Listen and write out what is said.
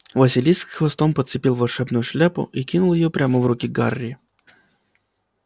василиск хвостом подцепил волшебную шляпу и кинул её прямо в руки гарри